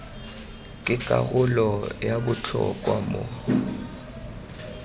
ke karolo ya botlhokwa mo